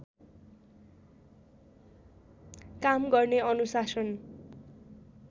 काम गर्ने अनुशासन